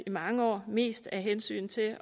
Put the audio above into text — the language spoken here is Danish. i mange år mest af hensyn til